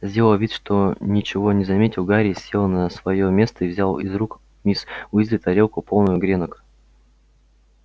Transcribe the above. сделав вид что ничего не заметил гарри сел на своё место и взял из рук миссис уизли тарелку полную гренок